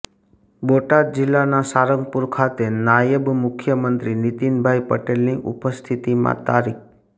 બોટાદ જિલ્લાના સારંગપુર ખાતે નાયબ મુખ્યમંત્રી નીતિનભાઇ પટેલની ઉપસ્થિતિમાં તા